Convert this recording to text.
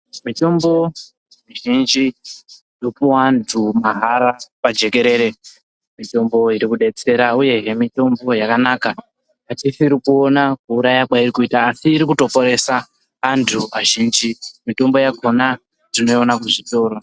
Mitombo mizhinji inopuwa andu mahara pajekerere, mitombo iri kudetsera uye mitombo yakanaka yatisiri kuona kuuya kwairi kuita asi iri kutoponesa andu azhinji, mitombo yakhona tinoiona kuzvitoro.